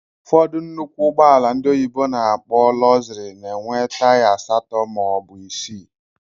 Ụfọdụ nnụkwụ ụgbọala ndị oyibo na-akpọ "luxury" na enwe taya asatọ maọbu isii.